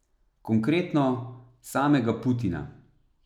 Konkretno, samega Putina.